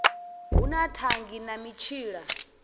hu na thangi na mitshila